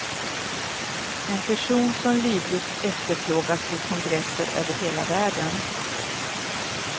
En person som livligt efterfrågas vid kongresser över hela världen.